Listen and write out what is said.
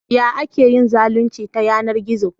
Ya ake yin zalunci ta yanar gizo?